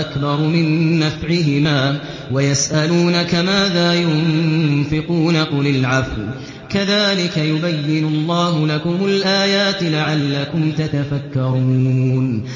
أَكْبَرُ مِن نَّفْعِهِمَا ۗ وَيَسْأَلُونَكَ مَاذَا يُنفِقُونَ قُلِ الْعَفْوَ ۗ كَذَٰلِكَ يُبَيِّنُ اللَّهُ لَكُمُ الْآيَاتِ لَعَلَّكُمْ تَتَفَكَّرُونَ